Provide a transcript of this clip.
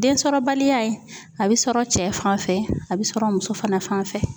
Densɔrɔbaliya, a bi sɔrɔ cɛ fanfɛ ,a bi sɔrɔ muso fana fan fɛ.